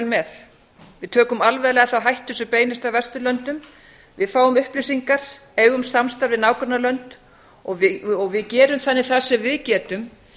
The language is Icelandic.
með við tökum alvarlega þá hættu sem beinist að vesturlöndum við fáum upplýsingar eigum samstarf við nágrannalönd og við gerum þannig það sem við getum